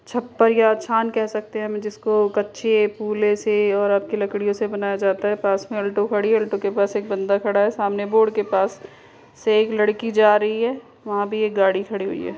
छप्पर या छान कह सकते है हम जिसको कच्चे फूले से और लकड़ियों से बनाया जाता है। पास में अल्टो खड़ी है। अल्टो के पास एक बंदा खड़ा है। सामने बोर्ड के पास से एक लड़की जा रही है। वहाँ भी एक गाड़ी खड़ी हुई है।